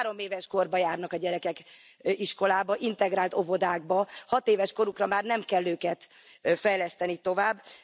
Nálunk három éves kortól járnak a gyerekek iskolába, integrált óvodákba, hatéves korukra már nem kell őket fejleszteni tovább.